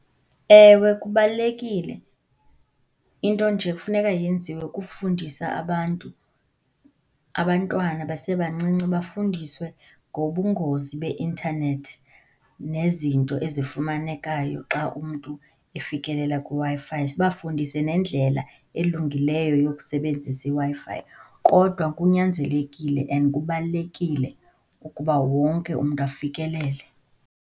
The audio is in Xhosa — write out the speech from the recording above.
Ewe kubalulekile. Into nje ekufuneka yenziwe kukufundisa abantu, abantwana basebancinci bafundiswe ngobungozi beintanethi nezinto ezifumanekayo xa umntu efikelelela kwiWi-Fi, sibafundise nendlela elungileyo yokusebenzisa iWi-Fi. Kodwa kunyanzelekile and kubalulekile ukuba wonke umntu afikelele.